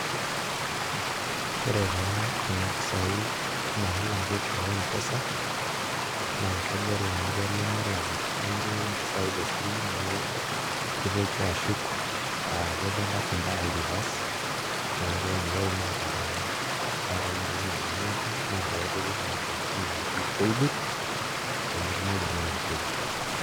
Ore taa kuna pisaai naalaki te M-pesa naa kegol amu kelo nelak oltung'ani mpisaai tesimu nitoki ashuk aa kejo ilashumba reverse, neeku inewuei naai italaanita naa ore naai enaidimi ataas naa pee epiki kuna tokiting' naaji paybill pee metumoki naa atushuko.